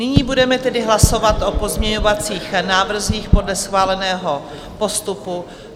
Nyní budeme tedy hlasovat o pozměňovacích návrzích podle schváleného postupu.